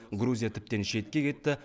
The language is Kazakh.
грузия тіптен шетке кетті